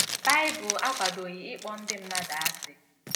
Baịbụl akwadoghị ịkpọ ndị mmadụ asị.